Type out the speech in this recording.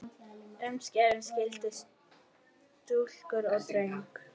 Umskera skyldi stúlkur og drengi.